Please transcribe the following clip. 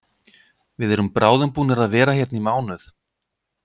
Við erum bráðum búnir að vera hérna í mánuð.